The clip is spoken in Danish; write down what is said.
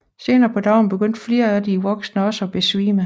Senere på dagen begyndte flere af de voksne også at besvime